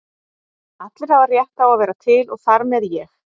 Allir hafa rétt á að vera til og þar með ég.